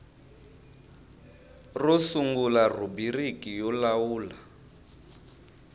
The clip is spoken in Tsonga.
ro sungula rhubiriki yo lawula